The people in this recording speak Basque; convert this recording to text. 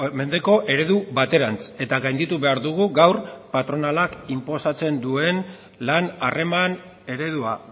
mendeko eredu baterantz eta gainditu behar dugu gaur patronalak inposatzen duen lan harreman eredua